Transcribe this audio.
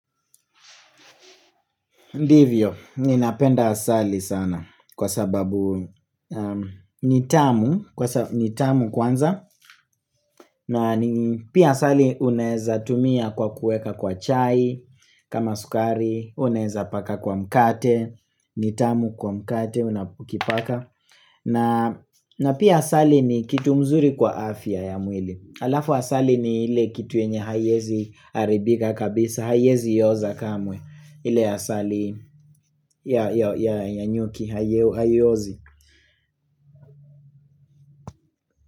Ndivyo, ninapenda asali sana kwa sababu nitamu, nitamu kwanza na pia asali unaweza tumia kwa kuweka kwa chai, kama sukari, uneza paka kwa mkate, nitamu kwa mkate, unapukipaka na pia asali ni kitu mzuri kwa afya ya mwili Alafu asali ni ile kituenye hawezi haribika kabisa hawezi oza kamwe ile asali ya nyuki haiozi.